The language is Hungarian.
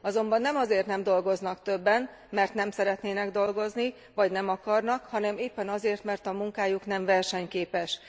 Azonban nem azért nem dolgoznak többen, mert nem szeretnének dolgozni vagy nem akarnak, hanem éppen azért, mert a munkájuk nem versenyképes.